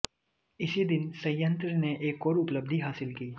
इसी दिन संयंत्र ने एक और उपलब्धि हासिल की